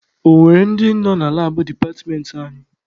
Ọ nwere ndị nọ na labụ departmentị anyị?